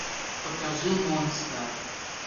покажи монстр